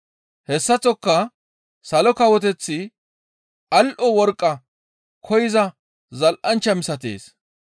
«Hessaththoka Salo Kawoteththi al7o worqqa koyza zal7anchcha misatees.